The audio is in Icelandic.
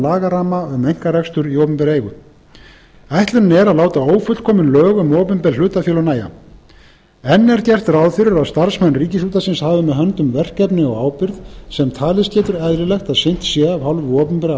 lagaramma um einkarekstur í opinberri eigu ætlunin er að láta ófullkomin lög um opinber hlutafélög nægja enn er gert ráð fyrir að starfsmenn ríkisútvarpsins hafi með höndum verkefni og ábyrgð sem talist getur eðlilegt að sinnt sé af hálfu opinberra